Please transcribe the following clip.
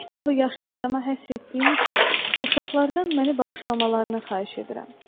Bu kitabı yaşlı adama həsr etdiyim üçün uşaqlardan məni bağışlamalarını xahiş edirəm.